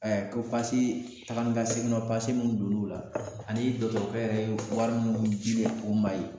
Ɛɛ ko pase taga ni ka segin nɔ pase minnu donn'o la ani dɔgɔtɔrɔkɛ yɛrɛ ye wari min dile u ma yen